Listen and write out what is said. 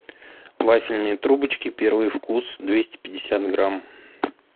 вафельные трубочки первый вкус двести пятьдесят грамм